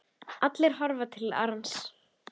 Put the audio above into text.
Allir horfa til Arons.